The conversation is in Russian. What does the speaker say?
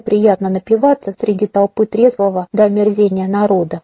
приятно напиваться среди толпы трезвого до омерзения народа